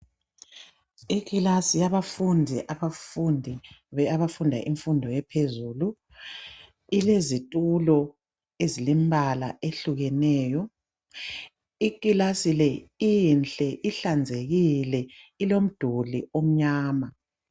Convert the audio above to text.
Ikilasi yabafundi abafunda imfundo ephezulu .Ilezitulo ezilembala ehlukeneyo. Ikilasi le inhle, ihlanzekile ilomduli omnyama.